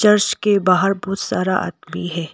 अर्श के बाहर बहुत सारा आदमी है।